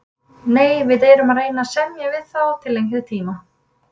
Nei, við erum að reyna að semja við þá til lengri tíma.